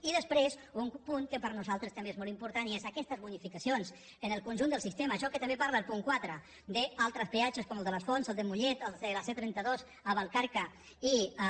i després un punt que per nosaltres també és molt important i és aquestes bonificacions en el conjunt del sistema això de què també parla el punt quatre d’altres peatges com el de les fonts el de mollet els de la c trenta dos a vallcarca i a